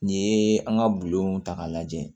N'i ye an ka bulonw ta k'a lajɛ